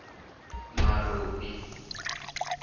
marobi